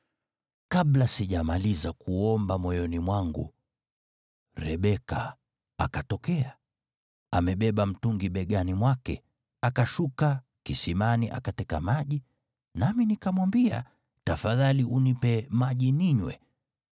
“Kabla sijamaliza kuomba moyoni mwangu, Rebeka akatokea, amebeba mtungi begani mwake. Akashuka kisimani akateka maji, nami nikamwambia, ‘Tafadhali nipe maji ninywe.’